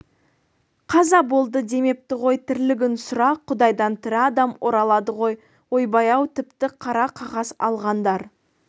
қаза болды демепті ғой тірлігін сұра құдайдан тірі адам оралады ғой ойбай-ау тіпті қара қағаз алғандар